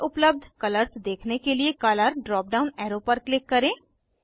सारे उपलब्ध कलर्स देखने के लिए कलर ड्राप डाउन एरो पर क्लिक करें